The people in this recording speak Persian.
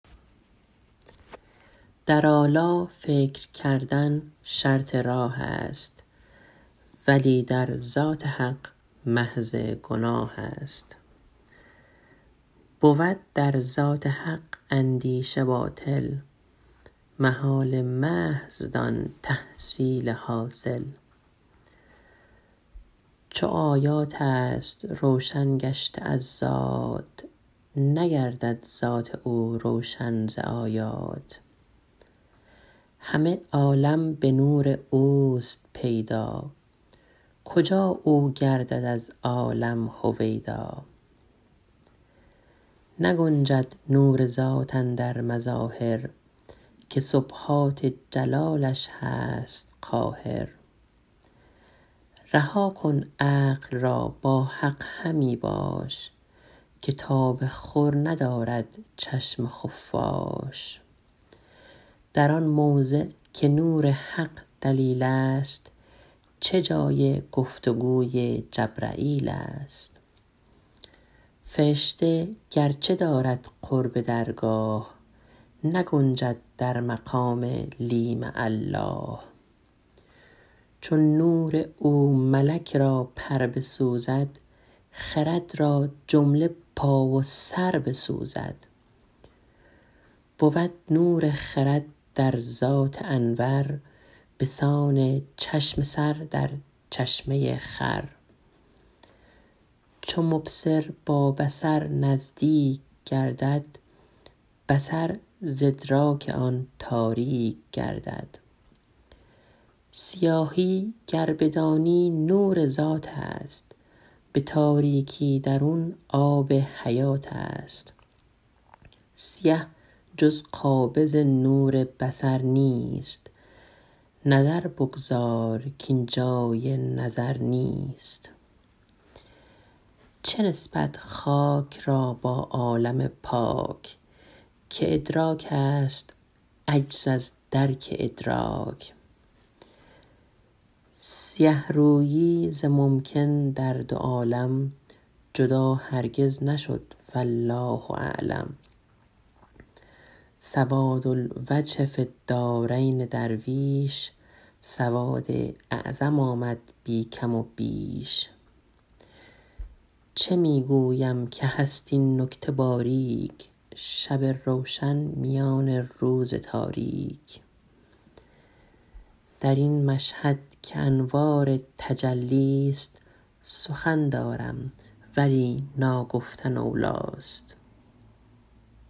در آلا فکر کردن شرط راه است ولی در ذات حق محض گناه است بود در ذات حق اندیشه باطل محال محض دان تحصیل حاصل چو آیات است روشن گشته از ذات نگردد ذات او روشن ز آیات همه عالم به نور اوست پیدا کجا او گردد از عالم هویدا نگنجد نور ذات اندر مظاهر که سبحات جلالش هست قاهر رها کن عقل را با حق همی باش که تاب خور ندارد چشم خفاش در آن موضع که نور حق دلیل است چه جای گفتگوی جبرییل است فرشته گرچه دارد قرب درگاه نگنجد در مقام لی مع الله چو نور او ملک را پر بسوزد خرد را جمله پا و سر بسوزد بود نور خرد در ذات انور بسان چشم سر در چشمه خور چو مبصر در نظر نزدیک گردد بصر ز ادراک او تاریک گردد سیاهی گر بدانی نور ذات است به تاریکی درون آب حیات است سیه جز قابض نور بصر نیست نظر بگذار کاین جای نظر نیست چه نسبت خاک را با عالم پاک که ادراک است عجز از درک ادراک سیه رویی ز ممکن در دو عالم جدا هرگز نشد والله اعلم سواد الوجه فی الدارین درویش سواد اعظم آمد بی کم و بیش چه می گویم که هست این نکته باریک شب روشن میان روز تاریک در ین مشهد که انوار تجلی است سخن دارم ولی نا گفتن اولی است